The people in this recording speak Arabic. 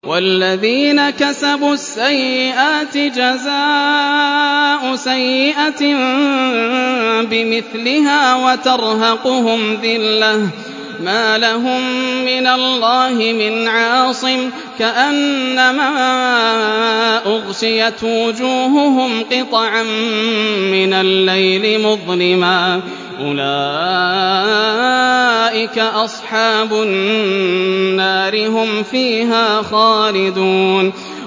وَالَّذِينَ كَسَبُوا السَّيِّئَاتِ جَزَاءُ سَيِّئَةٍ بِمِثْلِهَا وَتَرْهَقُهُمْ ذِلَّةٌ ۖ مَّا لَهُم مِّنَ اللَّهِ مِنْ عَاصِمٍ ۖ كَأَنَّمَا أُغْشِيَتْ وُجُوهُهُمْ قِطَعًا مِّنَ اللَّيْلِ مُظْلِمًا ۚ أُولَٰئِكَ أَصْحَابُ النَّارِ ۖ هُمْ فِيهَا خَالِدُونَ